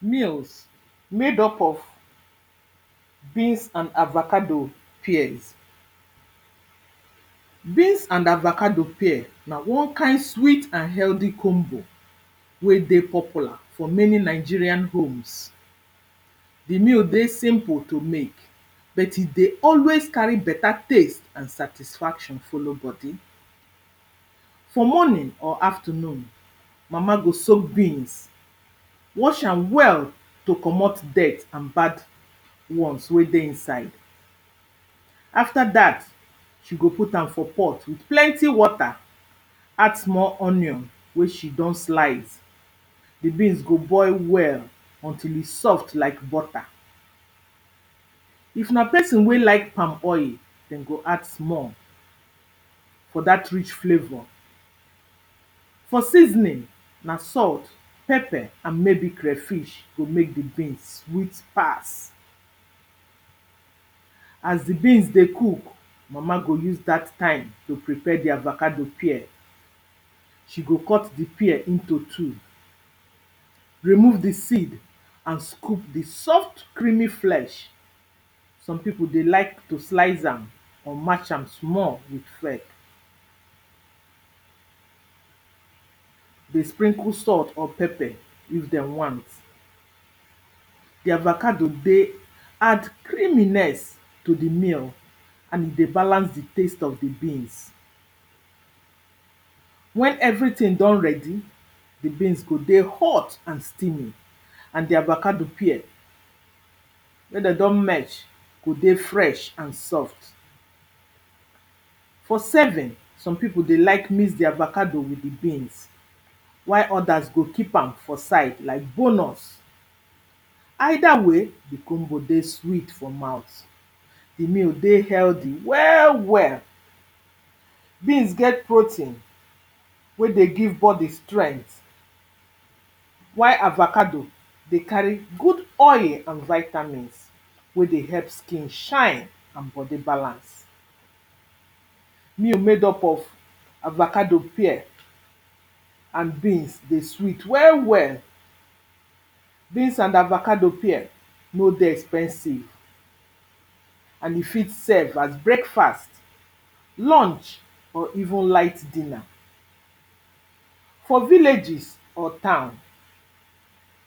Meals made up of beans and avacado pears. Beans and avacado pear na wan kind sweet and healthy combo wey dey popular for many Nigeria homes. The meal dey simple to make bet e dey always carry beta taste and satisfaction follow bodi. For morning or afternoon, mama go soak beans, wash am well to comot dirt and bad ones wey dey inside. After that, she go put am for pot with plenty water, add small onion wey she don slice. The beans go boil well until e soft like butter. If na person wey like palmoil, dem go add small for that rich flavour. For seasoning, na salt, pepper and maybe crayfish go make the beans sweet pass. As the beans dey cook, mama go use that time to prepare the avacado pear. She go cut the pear into two, remove the seed and scoop the soft creamy flesh. Some pipo dey like to slice am or match am small with fork. Dey sprinkle salt or pepper if dem want. The avacado dey add creaminess to the meal and e dey balance the taste of the beans. When everything don ready, the beans go dey hot and steamy and the avacado pear, when dem don merc h go dey fresh and soft. For serving, some pipo dey like mix the avacado with the beans, while others go keep am for side like bonus. Either way, the combo dey sweet for mouth. The meal dey healthy well well. Beans get protein wey dey give bodi strength whi avacado dey carry good oil and vitamins. wey dey help skin shine and bodi balance. Meal made up of avacado pear and beans dey sweet well well. Beans and avacado pear no dey expensive and e fit serve as breakfast, lunch or even light dinner. For villages or town,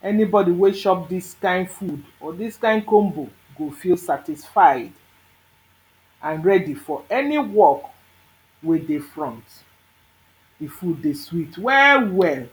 anybodi wey shop this kind food or this kind combo go feel satisfy and ready for any work wey dey front. The food dey sweet well well.